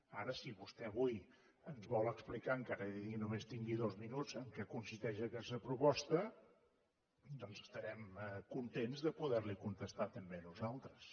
ara si vostè avui ens vol explicar encara que només tingui dos minuts en què consisteix aquesta proposta doncs estarem contents de poderli contestar també nosaltres